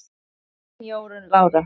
Þín Jórunn Lára.